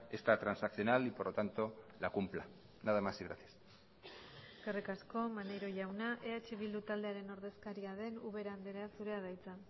esta transaccional y por lo tanto la cumpla nada más y gracias eskerrik asko maneiro jauna eh bildu taldearen ordezkaria den ubera andrea zurea da hitza